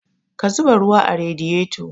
Ka zuba ruwa a radiyeto